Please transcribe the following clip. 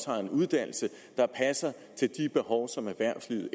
har en uddannelse der passer til de behov som erhvervslivet